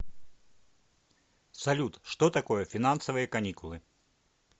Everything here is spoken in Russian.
салют что такое финансовые каникулы